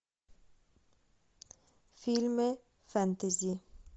фильмы фэнтези